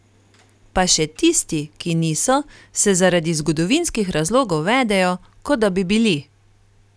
Pa še tisti, ki niso, se zaradi zgodovinskih razlogov vedejo, kot da bi bili.